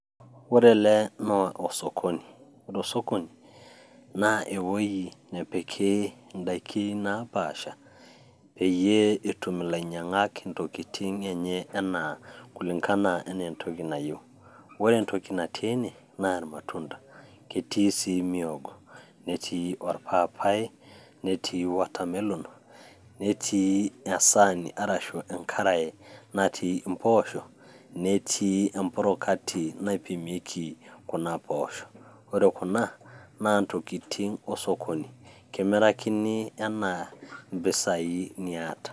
Ore ele naa osokoni, ore osokoni, naa ewei nepiki indaiki naapasha peyie etum ilainyang'ak intokin enye anaa kulingana anaa entoki eneyeu. Ore entoki natii ene, naa ilmatunda, ketii sii olmwogo, netii olpapai, netii water melon, netii esaani arashu enkarai natii empoosho, netii emprokati naipimieki kuna poosho. Ore kuna naa intokitin osokoni, kimirakini anaa impesai niata.